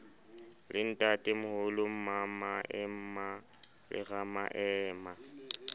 le ntatemoholo mmamaema le ramaema